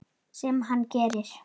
Sem hann gerir.